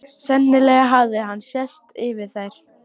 Sennilega hafði henni sést yfir þær.